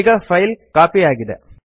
ಈಗ file copy ಆಗಿದೆ